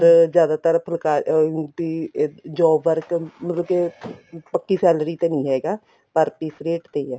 ਜਿਆਦਾਤਰ ਅਹ job work ਮਤਲਬ ਕੇ ਪੱਕੀ salary ਤੇ ਨਹੀਂ ਹੈਗਾ per piece ਰੇਟ ਤੇ ਹੈ